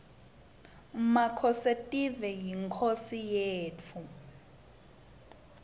makhosetive yinkhosi yetfu